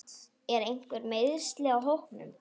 Eru einhver meiðsli á hópnum?